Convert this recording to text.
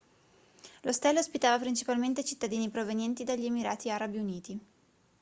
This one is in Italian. l'ostello ospitava principalmente cittadini provenienti dagli emirati arabi uniti